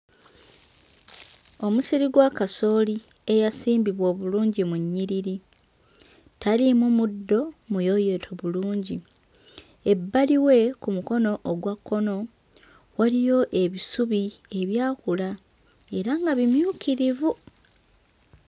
Omusiri gwa kasooli eyasimbibwa obulungi mu nnyiriri, taliimu muddo, muyooyoote bulungi, ebbali we ku mukono ogwa kkono, waliyo ebisubi ebyakula era nga bimyukirivu.